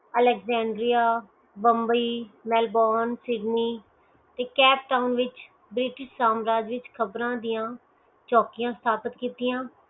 Alexandria Bombay Melbourne Sydney Cape Town ਵਿਚ ਬ੍ਰੇਅਠ ਸੰਰਾਜਿਕ ਖ਼ਬਰਾਂ ਦੀਆ ਚੋਕੀਆ ਸਤਾਪਿਤ ਕੀਤੀਆਂ